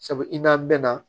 Sabu i n'a mɛn na